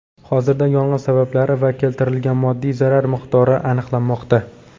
Hozirda yong‘in sabablari va keltirilgan moddiy zarar miqdori aniqlanmoqda.